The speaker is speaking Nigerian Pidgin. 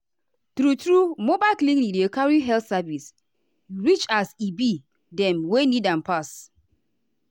true-true mobile clinic dey carry health service reachas e be dem wey need am pass.